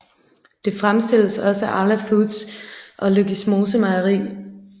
Det fremstilles også af Arla Foods og Løgismose Mejeri